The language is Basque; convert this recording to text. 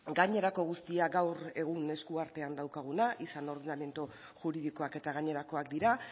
gainerako guztia gaur egun eskuartean daukaguna izan ordenamendu juridikoak eta gainerakoak dira